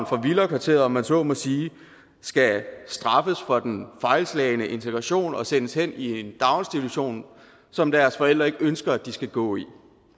fra villakvarteret om man så må sige skal straffes for den fejlslagne integration og sendes hen i en daginstitution som deres forældre ikke ønsker de skal gå i